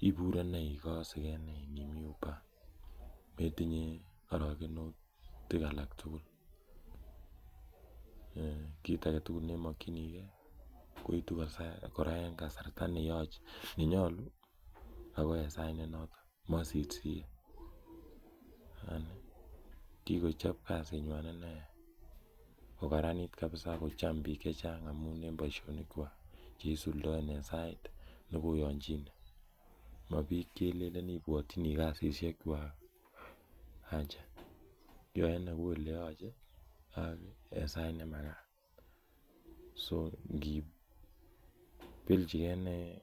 ipure ne ikase ke ne imi Uber metinye arokenutik alak tugul. Kiit age tugul ne imakchinigei koitu kora en kasarta ne nyalu ako en sait ne notok, masirsiri. Kikochop kasinywan nne kokararani ak kocham piik che chang' amun en poishonikwak che isuldaen en sait ne koyanchine. Ma piik che ilelen ipwatchini kasishechwak ,acha. Yae ne kou ole yache en sait ne makat.